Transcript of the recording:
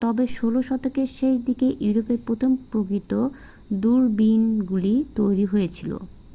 তবে 16 শতকের শেষ দিকে ইউরোপে প্রথম প্রকৃত দূরবীনগুলি তৈরি হয়েছিল